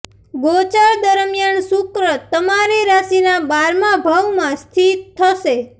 ગોચર દરમિયાન શુક્ર તમારી રાશિના બારમા ભાવમાં સ્થિત થશે